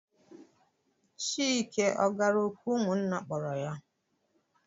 Chike ọ gara òkù ụmụnna kpọrọ ya?